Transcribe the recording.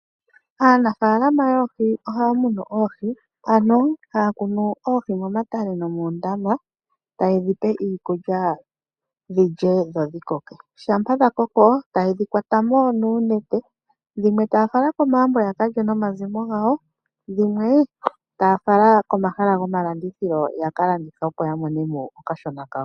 Aanafaalama yoohi ohaya munu oohi ano ohaya kunu oohi momatale nomoondama tayedhi pe iikulya dhilye dho dhi koke, shampa dha koko tayedhi kwatamo nuunete, dhimwe taya fala komagumbo yaka lye nomazimo gawo, dhimwe taya fala komahala gomalandithilo yaka landithe opo ya monemo okashona kao.